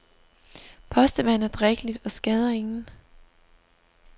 Postevand er drikkeligt og skader ingen.